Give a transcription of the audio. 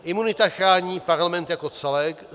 Imunita chrání Parlament jako celek.